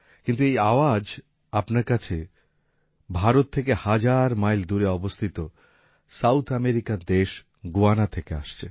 কিন্তু এই আওয়াজ ও আপনার কাছে ভারত থেকে হাজার মাইল দূরে অবস্থিত সাউথ আমেরিকান দেশ গুয়ানা থেকে আসছে